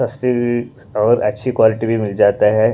सस्ती और अच्छी क्वालिटी भी मिल जाता है।